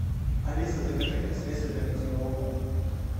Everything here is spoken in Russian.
алиса закажи мне средство для мытья окон